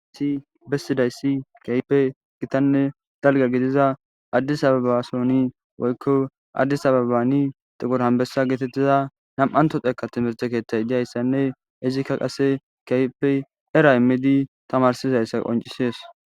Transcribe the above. ssi bessidayssi kahipe gitanne dalga gidiza addis ababa sooni woykko addis ababani xuqor anbessa geetettiza nam7anto xeeka timirthe keeththay diyayssanne izikka qase kaype era immidi tamarsizayssa qoncisees